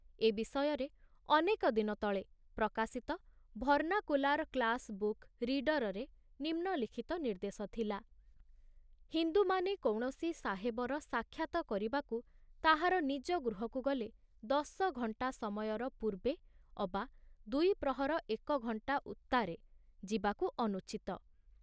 ଏ ବିଷୟରେ ଅନେକ ଦିନ ତଳେ ପ୍ରକାଶିତ ଭର୍ଣ୍ଣାକୁଲାର କ୍ଲାସ ବୁକ ରୀଡରରେ ନିମ୍ନ ଲିଖ୍ତ ନିର୍ଦ୍ଦେଶ ଥିଲା ହିନ୍ଦୁମାନେ କୌଣସି ସାହେବର ସାକ୍ଷାତ କରିବାକୁ ତାହାର ନିଜ ଗୃହକୁ ଗଲେ ଦଶଘଣ୍ଟା ସମୟର ପୂର୍ବେ ଅବା ଦୁଇପ୍ରହର ଏକ ଘଣ୍ଟା ଉତ୍ତାରେ ଯିବାକୁ ଅନୁଚିତ।